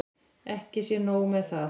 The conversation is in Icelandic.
Ekki sé nóg með það.